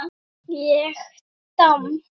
Ég domm?